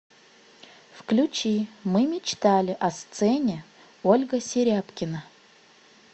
включи мы мечтали о сцене ольга серябкина